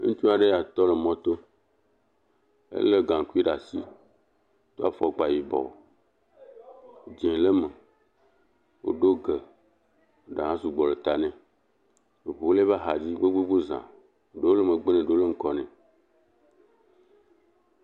Ŋutsu aɖe nye ya tɔ ɖe mɔto elé gaŋkui ɖe asi do afɔkpa yibɔ, dzɛ̃ le eme woɖo ge ɖa sugbɔ le ta nɛ ŋuwo le eƒe axa dzi gbogbo za, ɖewo le megbe kple ŋgɔ nɛ.